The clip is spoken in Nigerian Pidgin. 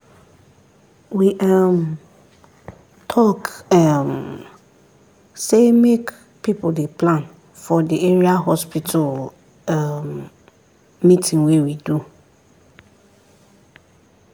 we um talk um say make people dey plan for the area hospital um meeting wey we do